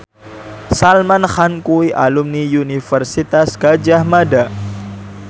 Salman Khan kuwi alumni Universitas Gadjah Mada